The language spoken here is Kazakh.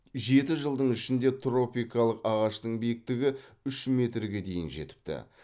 жеті жылдың ішінде тропикалық ағаштың биіктігі үш метрге дейін жетіпті